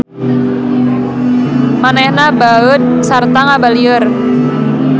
Manehna baeud sarta ngabalieur.